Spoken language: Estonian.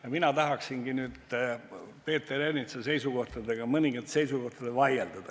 Ja mina tahaksingi nüüd Peeter Ernitsa mõningate seisukohtadega vaielda.